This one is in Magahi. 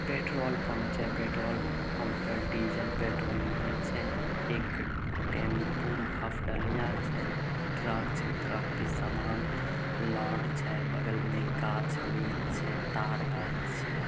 पेट्रोल पम्प छे। पेट्रोल पम्प पर डीजल पेट्रोल मिलै छे। एक टेम्पु हफटलिया छे। ट्रक छे ट्रक पे सामान लोअड छे बगल मे गाछ वृक्ष छे तार गाछ छे।